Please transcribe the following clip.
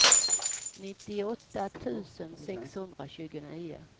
nittioåtta tusen sexhundratjugonio